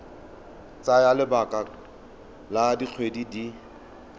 tsaya lebaka la dikgwedi di